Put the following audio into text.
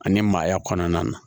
Ani maaya kɔnɔna na